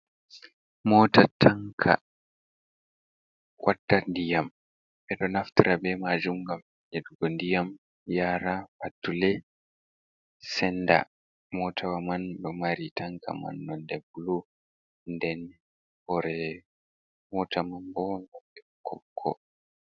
Mota tanka wata ndiyam ɓeɗo naftara be majum gam nyeɗugo ndiyam yara patule senda, mota wa man ɓe mari tanka man nonde bulu den hore mota man bo nonde boko boko.